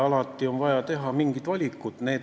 Alati on vaja teha mingeid valikuid.